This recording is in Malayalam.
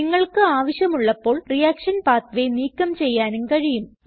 നിങ്ങൾക്ക് ആവശ്യമുള്ളപ്പോൾ റിയാക്ഷൻ പാത്വേ നീക്കം ചെയ്യാനും കഴിയും